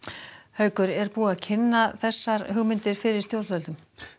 haukur er búið að kynna þessar hugmyndir fyrir stjórnvöldum